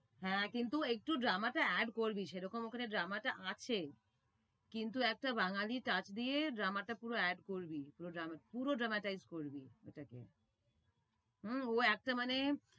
হ্যাঁ কিন্তু একটু drama টা add করবি সে রকম ওখানে drama টা আছে। কিন্তু একটা বাঙ্গালি চাচ দিয়ে drama টা পুরো add করবি, পুরো dra~ পুরো drama টাই use করবি ওটাকে। উ একটাই মানে